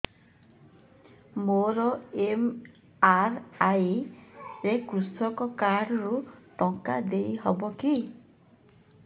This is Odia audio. ମୋର ଏମ.ଆର.ଆଇ ରେ କୃଷକ କାର୍ଡ ରୁ ଟଙ୍କା ଦେଇ ହବ କି